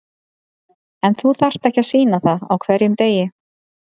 En þú þarft ekki að sýna það á hverjum degi.